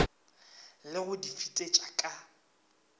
le go di fetetša ka